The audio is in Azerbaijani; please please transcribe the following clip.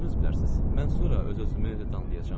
Özünüz bilərsiz, mən sonra öz-özümü danlayacam.